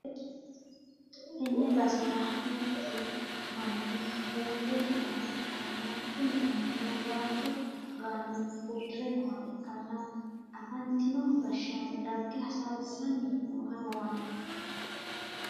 tenne basera duuchu ,manni uurre nooha ikkanna, kuni mannino waajjo gaane uddi're nooha ikkana, afantino gashsshaano dagge hasaawissanni nooha lawanno.